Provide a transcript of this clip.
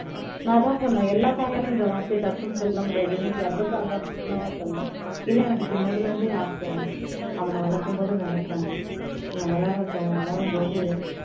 நான் அதான் சொன்னேன் எல்லாத்தாயாலையும் இந்த வார்த்தையை டக்குன்னு சொல்ல முடியாது நீ சர்வ சாதாரணமா சொல்லலை இல்லை எனக்கு சின்னதுல இருந்தே ஆசை அவனை வளர்க்கும்போது நினைப்பேன் இவன் வளரட்டும் வளரும்போது